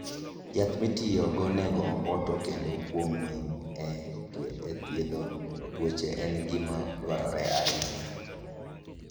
Yath ma itiyogo nego omboto kendo kuom winy e thiedho tuoche en gima dwarore ahinya.